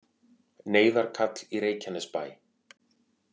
Neyðarkall í Reykjanesbæ